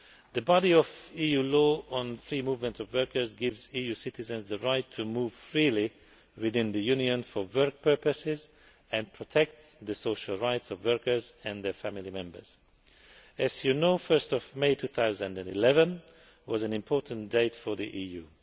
The body of EU law on free movement of workers gives EU citizens the right to move freely within the Union for work purposes and protects the social rights of workers and their family members. As you know, 1 May 2011 was an important date for the EU.